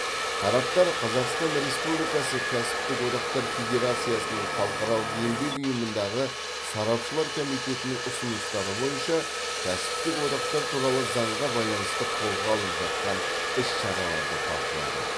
тараптар қазақстан республикасының кәсіптік одақтары федерациясының халықаралық еңбек ұйымындағы сарапшылар комитетінің ұсыныстары бойынша кәсіптік одақтар туралы заңға байланысты қолға алып жатқан іс шараларды талқылады